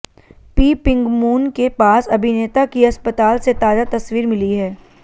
PeepingMoon के पास अभिनेता की अस्पताल से ताजा तस्वीर मिली है